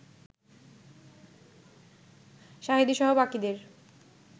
সাঈদীসহ বাকিদের